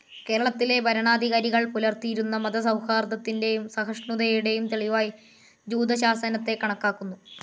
കേരളത്തിലെ ഭരണാധികാരികൾ പുലർത്തിയിരുന്ന മതസൗഹാർദ്ദത്തിന്റെയും സഹിഷ്ണുതയുടെയും തെളിവായി ജൂതശാസനത്തെ കണക്കാക്കുന്നു.